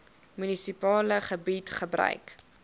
munisipale gebied gebruik